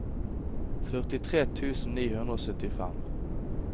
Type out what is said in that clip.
førtitre tusen ni hundre og syttifem